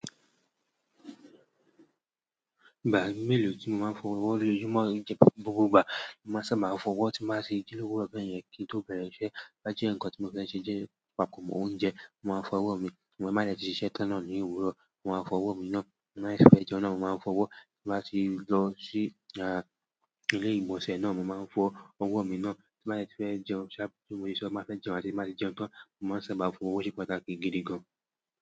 Ìgbà mélòó tí mo máa ń fọ owó lójúmọ́ jẹ́ gbogbo ìgbà. Mo máa sábà fọ owó tí máa ṣe ji lówurọ̀ bẹ́ yẹn kí n tó bẹ̀rẹ̀ iṣẹ́, tobá jẹ́ nǹkan tí mo fẹ́ ṣe papọ̀ mọ́ oúnjẹ, mo máa fọ owó mi. Ti mo ba de ti sise tan náà nii òwúrọ̀, mo ma fo owo mii náà mo bá fẹ́ jẹun náà, mo máa fọ owó. Ti mo bá ti lọ sí, ilé ìgbọ̀nsẹ̀ náà, mo máa ń fọ owó mi náà. Ti mo bá fẹ́ jẹun ṣáà. Bi mo se máa fẹ́ jẹun àti bi mo ba ti jẹun tán, mo máa sáabà fọ owó. Ose pàtàkì gidi gan.